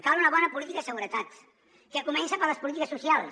cal una bona política de seguretat que comença per les polítiques socials